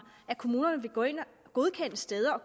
at kommunerne vil gå ind og godkende steder og